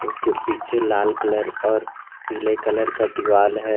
उसके पीछे लाल कलर और पीले कलर का दीवाल है।